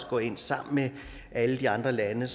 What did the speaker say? går ind sammen med alle de andre lande